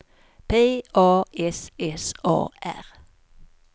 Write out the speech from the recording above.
P A S S A R